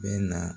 Bɛ na